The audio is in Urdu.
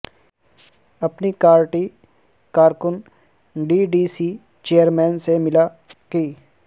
اپنی کارٹی کارکن D D C chairman سے ملا قی